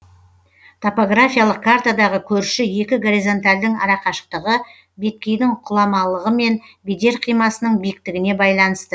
топографиялық картадағы көрші екі горизонтальдың арақашықтығы беткейдің құламалығы мен бедер қимасының биіктігіне байланысты